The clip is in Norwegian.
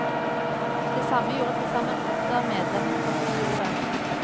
Det samme gjorde tilsammen åtte av medlemmene på kontoret.